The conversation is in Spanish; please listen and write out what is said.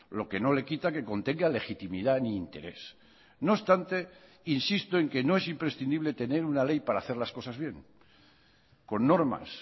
lo que no le quita que contenga legitimidad ni interés no obstante insisto en que no es imprescindible tener una ley para hacer las cosas bien con normas